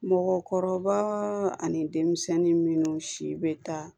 Mɔgɔkɔrɔba ani denmisɛnnin minnu si bɛ taa